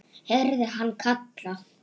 heyrði hann kallað.